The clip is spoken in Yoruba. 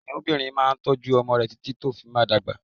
Kìnìúnbìrin máa n tójú ọmọ rẹ̀ títí tó fi máa dagba